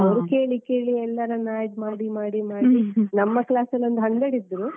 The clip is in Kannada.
ಅವರು ಕೇಳಿ ಕೇಳಿ ಎಲ್ಲರನ್ನ add ಮಾಡಿ ಮಾಡಿ ಮಾಡಿ, ನಮ್ಮ class ಅಲ್ಲಿ ಒಂದು hundred ಇದ್ರು.